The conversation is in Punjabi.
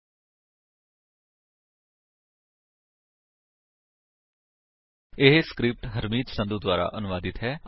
ਸਪੋਕਨ ਟਿਊਟੋਰੀਅਲ ਓਰਗ ਨਮੈਕਟ ਇੰਟਰੋ ਇਹ ਸਕਰਿਪਟ ਹਰਮੀਤ ਸੰਧੂ ਦੁਆਰਾ ਅਨੁਵਾਦਿਤ ਹੈ